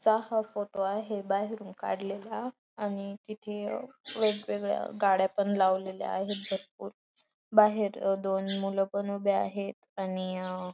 चा हा फोटो आहे बाहेरून काडलेला आणि तिथ वेगवेगळ्या गाड्या पण लावलेल्या आहेत भरपूर बाहेर दोन मूल पण उभे आहेत आणि--